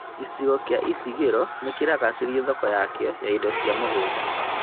Gĩcigo kĩa Isingiro nĩkĩragacĩrithia thoko yakĩo ya indo cia mũgũnda